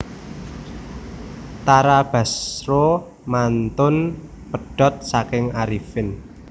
Tara Basro mantun pedhot saking Arifin